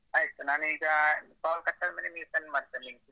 ಆಯ್ತ್ sir ನಾನೀಗ call cut ಆದ್ಮೇಲೆ ನಿಮಗೆ send ಮಾಡ್ತೇನ್ link .